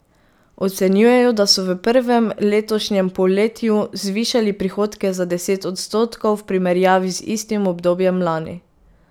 Ocenjujejo, da so v prvem letošnjem polletju zvišali prihodke za deset odstotkov v primerjavi z istim obdobjem lani.